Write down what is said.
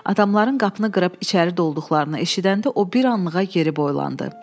Adamların qapını qırıb içəri dolduqlarını eşidəndə o bir anlığa geri boylandı.